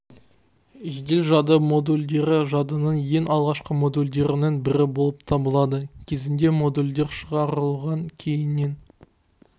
жедел жады модульдері жадының ең алғашқы модульдерінің бірі болып табылады кезінде модульдер шығарылған кейіннен